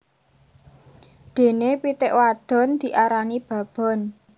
Dene pitik wadon diarani babon